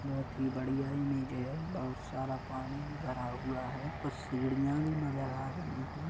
बहुत ही बढ़िया इमेज है बहुत सारा पानी भी भरा हुआ है कुछ सीढ़ियाँ भी नजर आ रही है।